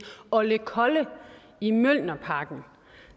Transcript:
ollekolle i mjølnerparken